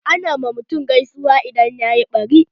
Ana ma mutum gaisuwa idan yayi ɓari.